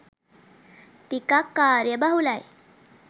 ටිකක් කාර්යයබහුලයි